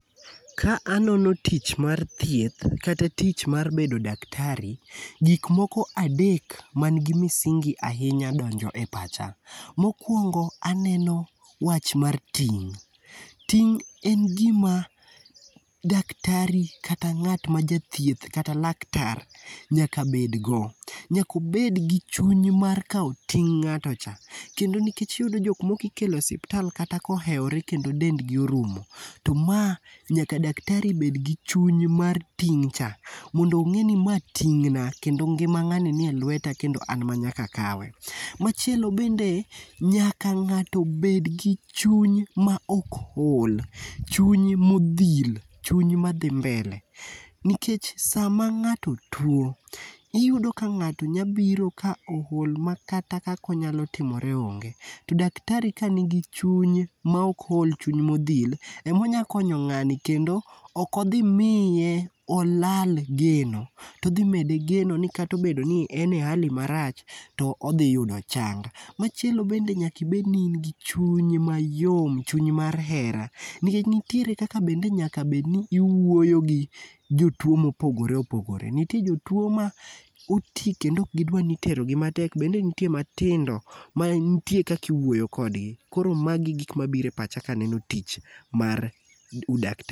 Ka anono tich mar thieth, kata tich mar bedo daktari, gik moko adek mangi misingi ahinya donjo e pacha. Mokwongo, aneno wach mar ting'. Ting' en gima daktari, kata ngát ma jathieth, kata laktar nyaka bedgo. Nyaka obed gi chuny mar kao ting' ngáto cha. Kendo nikech iyudo jokmoko ikelo osipatal kata ka oheore, kendo dendgi orumo, to ma nyaka Daktari bed gi chuny mar ting'cha. Mondo ongé ni ma tingna, kendo ngima ngáni ni e lweta, kendo an ma nyaka akawe. Machielo bende, nyaka ngáto bed gi chuny ma ok ol. Chuny modhil, chuny madhi mbele. Nikech sama ngáto two, iyudo ka ngáto nya biro ka ool, makata kaka onyalo timore onge. To Daktari ka nigi chuny ma ok ol, chuny modhil, ema onyalo konyo ngáni. Kendo okodhi miye olal geno, to odhi mede geno ni obedo ni kata en e hali marach, to odhi yudo chang. Machielo bende nyaka ibed ni in gi chuny mayom, chuny mar hera, nikech nitiere kaka bende onego bed ni iwuoyo gi jotwoo ma opogore opogore. Nitie jotwoo ma oti kendo okgidwar ni iterogi matek, bende nitie matindo man nitie kaka iwuoyo kodgi. Koro magi gik mabiro e pacha ka aneno tich mar udaktari.